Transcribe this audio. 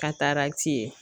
Katarati ye